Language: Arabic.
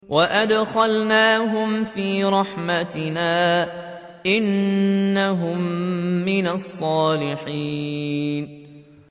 وَأَدْخَلْنَاهُمْ فِي رَحْمَتِنَا ۖ إِنَّهُم مِّنَ الصَّالِحِينَ